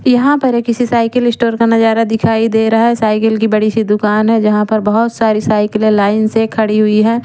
यहाँ पर एक किसी साइकीली स्टोर का नजारा दिखाई दे रहा है साइकिल की बड़ी सी दुकान है जहां पर बहोत सारी साइकीले लाइन से खड़ी हुई है।